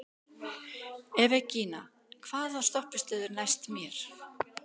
Evgenía, hvaða stoppistöð er næst mér?